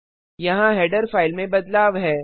यहाँ header file में बदलाव है